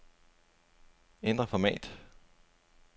Ændr format.